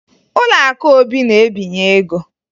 Ụlọakụ Obi na-ebinye ego